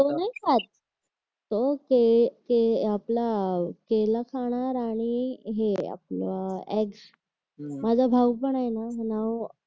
तो नाही खात तो तो तो आपापला केला खाणार आणि हे आपलं एग्ज माझा भाऊ पण आहे ना नौ